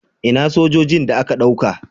Ina sojojin da aka dauka?